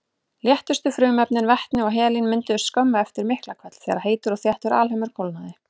Léttustu frumefnin, vetni og helín, mynduðust skömmu eftir Miklahvell þegar heitur og þéttur alheimur kólnaði.